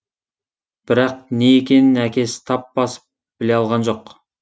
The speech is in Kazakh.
бірақ не екенін әкесі тап басып біле алған жоқ